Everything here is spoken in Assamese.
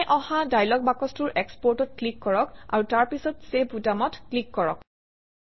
ওলাই অহা ডায়লগ বাকচটোৰ Export অত ক্লিক কৰক আৰু তাৰপিছত চেভ বুটামত ক্লিক কৰক